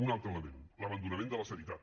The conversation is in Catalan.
un altre element l’abandonament de la sanitat